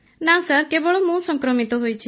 ନା ସାର୍ କେବଳ ମୁଁ ସଂକ୍ରମିତ ହୋଇଛି